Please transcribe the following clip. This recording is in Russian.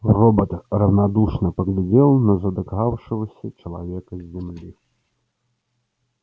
робот равнодушно поглядел на задыхавшегося человека с земли